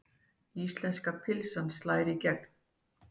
Íslenska pylsan slær í gegn